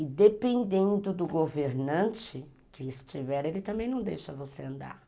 E dependendo do governante que estiver, ele também não deixa você andar.